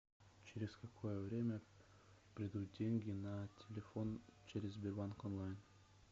через какое время придут деньги на телефон через сбербанк онлайн